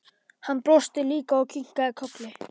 Hann brosti líka og kinkaði kolli.